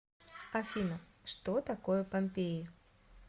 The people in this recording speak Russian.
афина что такое помпеи